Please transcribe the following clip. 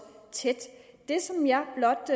tæt det som jeg blot